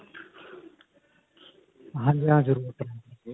ਹਾਂਜੀ ਹਾ ਜ਼ਰੂਰ .